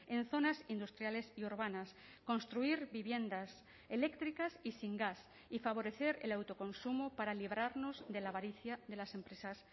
en zonas industriales y urbanas construir viviendas eléctricas y sin gas y favorecer el autoconsumo para librarnos de la avaricia de las empresas